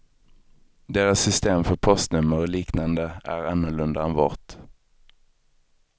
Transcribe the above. Deras system för postnummer och liknande är annorlunda än vårt.